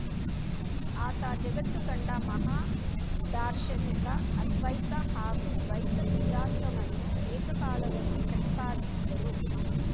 ಆತ ಜಗತ್ತು ಕಂಡ ಮಹಾದಾರ್ಶನಿಕ ಅದ್ವೈತ ಹಾಗೂ ದ್ವೈತ ಸಿದ್ಧಾಂತವನ್ನು ಏಕಕಾಲದಲ್ಲಿ ಪ್ರತಿಪಾದಿಸಿದರು